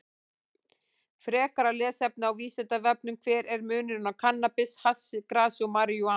Frekara lesefni á Vísindavefnum: Hver er munurinn á kannabis, hassi, grasi og marijúana?